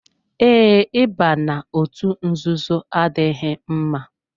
Ee, Ị ba n'otu nzuzo adịghị mma.